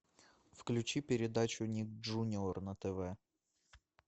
включи передачу ник джуниор на тв